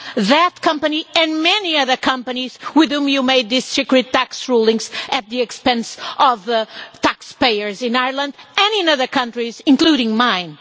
that company and many other companies with whom you made these secret tax rulings at the expense of the taxpayers in Ireland, and in other countries, including mine?